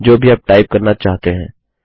जो भी आप टाइप करना चाहते हैं